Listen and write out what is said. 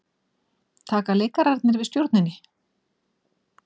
Taka leikararnir við stjórninni?